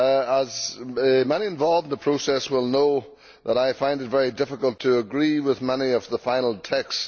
As many involved in the process will know, I find it very difficult to agree with much of the final text.